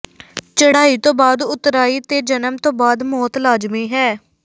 ਚੜ੍ਹਾਈ ਤੋਂ ਬਾਅਦ ਉਤਰਾਈ ਤੇ ਜਨਮ ਤੋਂ ਬਾਅਦ ਮੌਤ ਲਾਜ਼ਮੀ ਹੈ